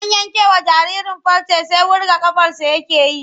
Zan yankewa jaririn farce sai wurga ƙafarsa yake yi.